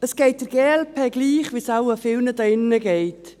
Es geht der glp gleich, wie es wohl vielen hier drin geht.